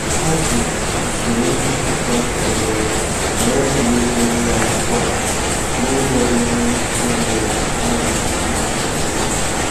Ha ji usoro nchopụta kwadoro were kọọ ugbo ụlọ akwụkwọ ha na ụzọ ga enye ohere ka anwụ na-achakwasị ya